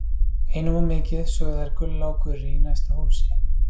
Einum of mikið, sögðu þær Gulla og Gurrý í næsta húsi.